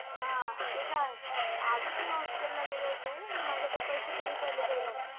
हा ते तर आहेच आजच मी hospital ला गेले होते पण माझ्याकडे पैसे कमी पडले द्यायला